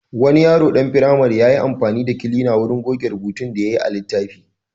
Wani yaro ɗan firamare ya yi amfani da kilina wurin goge rubutun da yayi a littafi.